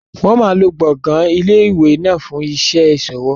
Wọn máa lo gbọ̀ngàn ilé ìwé náà fún iṣẹ́ ìṣòwò.